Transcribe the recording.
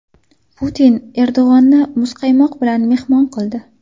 Putin Erdo‘g‘onni muzqaymoq bilan mehmon qildi.